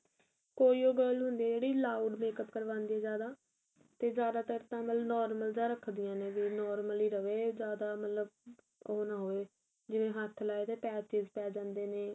ਕੋਈ ਓ girl ਹੁੰਦੀ ਏ ਜਿਹੜੀ loud ਮਾਕੁਪ ਕਰਵਾਂਦੀ ਏ ਜਿਆਦਾ ਤੇ ਜਿਆਦਾ ਤਰ ਤਾਂ normal ਜਾ ਰੱਖਦਿਆ ਨੇ ਵੀ normal ਹੀ ਰਵੇ ਜਿਆਦਾ ਮਤਲਬ ਉਹ ਨਾ ਹੋਏ ਜਿਵੇਂ ਹੱਥ ਲਾਏ ਤੇ patches ਪੈ ਜਾਂਦੇ ਨੇ